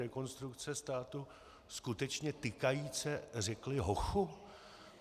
Rekonstrukce státu skutečně tykajíce řekli hochu?